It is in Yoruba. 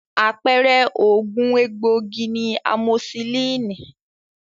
Àpẹẹrẹ oògùn egbòogi ni amosisílínì.